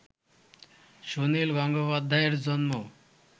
সুনীল গঙ্গোপাধ্যায়ের জন্ম